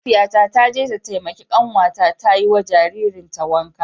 Mahaifiyata ta je ta taimaki kanwata ta yi wa jaririn ta wanka.